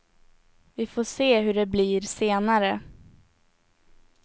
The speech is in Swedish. Vi får se hur det blir senare.